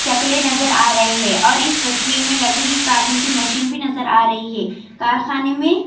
چکلی نظر ارہے ہیں اور اس تصویر میں لکڑی کاٹنے کی مشین نظر ارہی ہے کارخانے میں.